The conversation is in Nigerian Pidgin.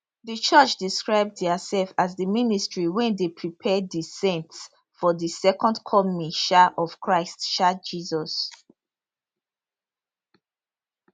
di church describe diasef as di ministry wey dey prepare di saints for di second coming um of christ um jesus